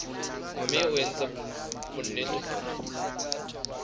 mme o etse bonnete hore